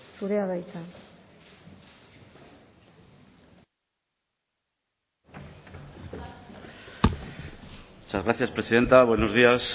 zurea da hitza muchas gracias presidenta buenos días